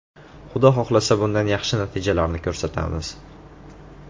Xudo xohlasa, bundanda yaxshi natijalarni ko‘rsatamiz.